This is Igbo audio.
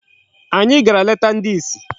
Anyị gara leta ndị isi